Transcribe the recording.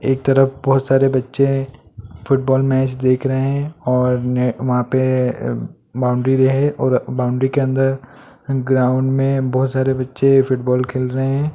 एक तरफ बहुत सारे बच्चे हैं फुटबॉल मैच देख रहे हैं और वहां पे बाउंड्री है और बाउंड्री के अंदर ग्राउंड में बहुत सारे बच्चे फुटबॉल खेल रहे हैं।